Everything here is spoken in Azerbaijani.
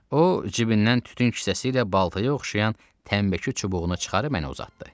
O, cibindən tütün kisəsi ilə baltaya oxşayan tənbəki çubuğunu çıxarıb mənə uzatdı.